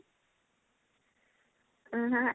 ଅଁ ହଁ